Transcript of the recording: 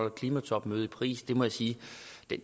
et klimatopmøde i paris må jeg sige